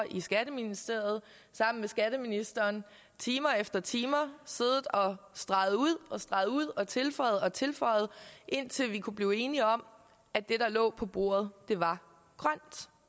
i skatteministeriet sammen med skatteministeren time efter time og streget ud og streget ud og tilføjet og tilføjet indtil vi kunne blive enige om at det der lå på bordet var grønt